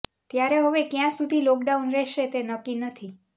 ત્યારે હવે ક્યાં સુધી લોકડાઉન રહેશે તે નક્કી નથી